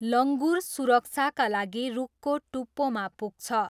लङ्गुर सुरक्षाका लागि रुखको टुप्पोमा पुग्छ।